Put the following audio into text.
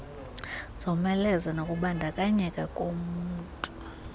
zomeleze nokubandakanyeka kolunmtu